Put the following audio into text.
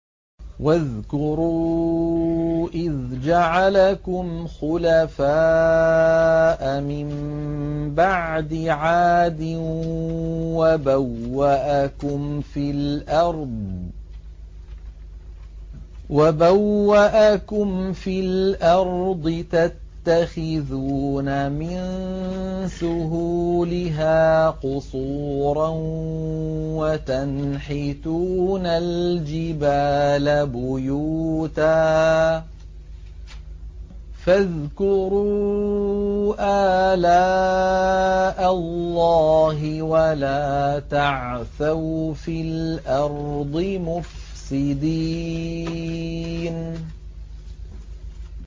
وَاذْكُرُوا إِذْ جَعَلَكُمْ خُلَفَاءَ مِن بَعْدِ عَادٍ وَبَوَّأَكُمْ فِي الْأَرْضِ تَتَّخِذُونَ مِن سُهُولِهَا قُصُورًا وَتَنْحِتُونَ الْجِبَالَ بُيُوتًا ۖ فَاذْكُرُوا آلَاءَ اللَّهِ وَلَا تَعْثَوْا فِي الْأَرْضِ مُفْسِدِينَ